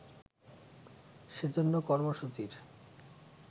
সে জন্য কর্মসূচির